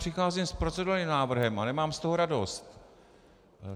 Přicházím s procedurálním návrhem a nemám z toho radost.